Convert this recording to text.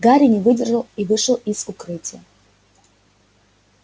гарри не выдержал и вышел из укрытия